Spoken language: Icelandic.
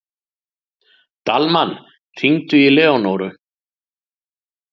Dalmann, hringdu í Leónóru.